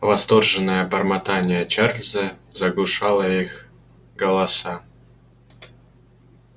восторженное бормотание чарлза заглушало их голоса